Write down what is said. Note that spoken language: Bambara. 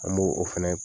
An b'o o fɛnɛ